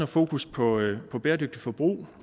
fokus på på bæredygtigt forbrug